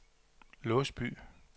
Låsby